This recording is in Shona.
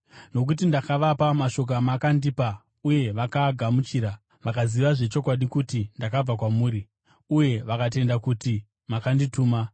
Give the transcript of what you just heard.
Nokuti ndakavapa mashoko amakandipa uye vakaagamuchira. Vakaziva zvechokwadi kuti ndakabva kwamuri, uye vakatenda kuti makandituma.